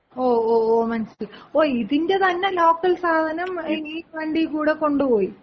ഓ ഓ ഓ മനസ്സിലായി. ഓ ഇതിന്‍റെ തന്നെ ലോക്കൽ സാധനം ഈ വണ്ടീകൂടെ കൊണ്ടുപോയി?